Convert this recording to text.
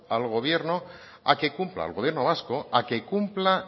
al gobierno a que cumpla al gobierno vasco a que cumpla